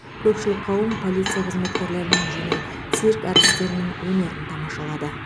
көпшілік қауым полиция қызметкерлерінің және цирк әртістерінің өнерін тамашалады